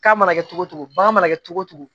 K'a mana kɛ cogo o cogo bagan mana kɛ cogo o cogo